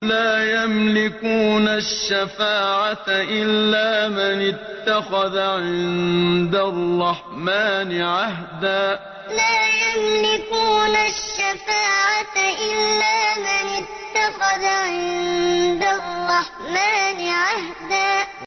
لَّا يَمْلِكُونَ الشَّفَاعَةَ إِلَّا مَنِ اتَّخَذَ عِندَ الرَّحْمَٰنِ عَهْدًا لَّا يَمْلِكُونَ الشَّفَاعَةَ إِلَّا مَنِ اتَّخَذَ عِندَ الرَّحْمَٰنِ عَهْدًا